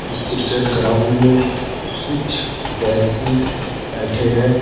इस cricket ground में कुछ व्यक्ति बैठे हैं।